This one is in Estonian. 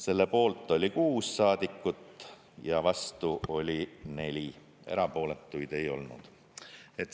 Selle poolt oli 6 saadikut ja vastu oli 4, erapooletuid ei olnud.